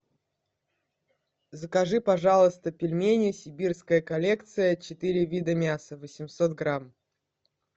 закажи пожалуйста пельмени сибирская коллекция четыре вида мяса восемьсот грамм